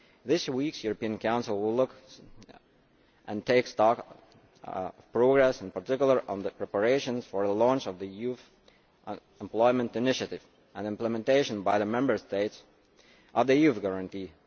This week's European Council will look at and take stock of progress, in particular on the preparations for the launch of the Youth Employment Initiative and implementation by the Member States of the youth guarantee.